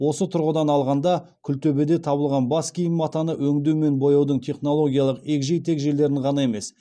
осы тұрғыдан алғанда күлтөбеде табылған бас киім матаны өңдеу мен бояудың технологиялық егжей тегжейлерін ғана емес